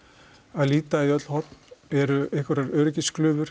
að líta í öll horn eru einhverjar